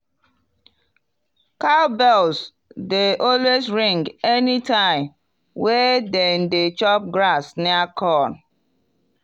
cowbells dey always ring anytime wey them dey chop grass near corn.